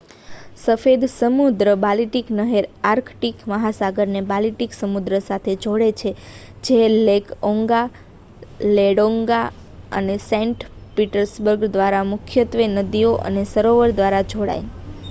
સફેદ સમુદ્ર-બાલ્ટિક નહેર આર્કટિક મહાસાગરને બાલ્ટિક સમુદ્ર સાથે જોડે છે જે લેક ઓન્ગા લેડોગા અને સેન્ટ પીટર્સબર્ગ દ્વારા મુખ્યત્વે નદીઓ અને સરોવરો દ્વારા જોડાય